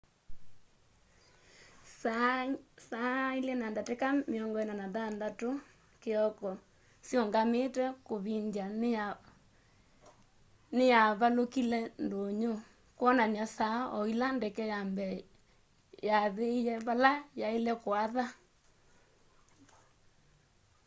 saa 8:46 a.m siungamite kuvindya niyavalukile ndunyu kwonany'a saa o ila ndeke ya mbee yaathie vala yaaile kuatha